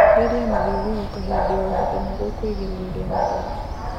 Therĩa mathiũrũrũka hĩndĩ o hĩndĩ nĩguo kuigiririrĩa mĩrimũ